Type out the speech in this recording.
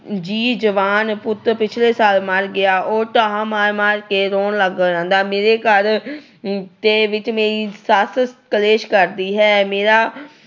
ਜੀ ਜਵਾਨ ਪੁੱਤ ਪਿਛਲੇ ਸਾਲ ਮਰ ਗਿਆ। ਉਹ ਧਾਹਾਂ ਮਾਰ ਮਾਰ ਕੇ ਰੋਣ ਲੱਗ ਜਾਂਦਾ। ਮੇਰੇ ਘਰ ਦੇ ਵਿੱਚ ਮੇਰੀ ਸੱਸ ਕਲੇਸ਼ ਕਰਦੀ ਹੈ। ਮੇਰਾ